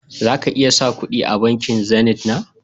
Za ka iya sa kudi a bankin "zenith " na